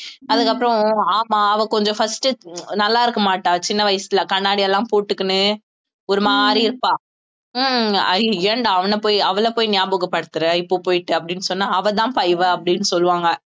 அதுக்கப்புறம் ஆமா அவ கொஞ்சம் first நல்லா இருக்க மாட்டா சின்ன வயசுல கண்ணாடி எல்லாம் போட்டுக்கினு ஒரு மாதிரி இருப்பா உம் அய்ய ஏன்டா அவனைப் போய் அவளைப் போய் ஞாபகப்படுத்தற இப்ப போயிட்டு அப்படீன்னு சொன்னா அவள்தாம்பா இவ அப்படீன்னு சொல்லுவாங்க